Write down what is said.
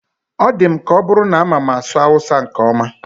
Ọ dị m ka ọ bụrụ na amama asụ awụsa nke ọma.